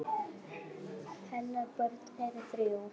Hennar börn eru þrjú.